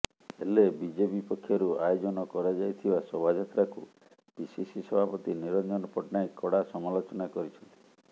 ହେଲେ ବିଜେପି ପକ୍ଷରୁ ଆୟୋଜନ କରାଯାଇଥିବା ଶୋଭାଯାତ୍ରାକୁ ପିସିସି ସଭାପତି ନିରଞ୍ଜନ ପଟ୍ଟନାୟକ କଡ଼ା ସମାଲୋଚନା କରିଛନ୍ତି